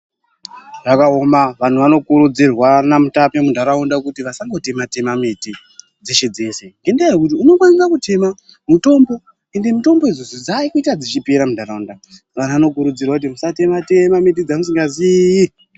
Zvakaoma vantu anokurudzirwa namutame muntaraunda kuti asatema miti dzeshe-dzeshe ngendaa yekuti unokwanisa kutema mutombo ende mitombo idzodzo dzakuita dzichipera muntataunda vantu vano kurudzirwa kuti musatema-tema miti dzamusinga zii.